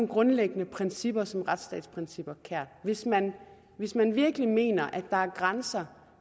grundlæggende principper som retsstatsprincipper kær hvis man hvis man virkelig mener at der er grænser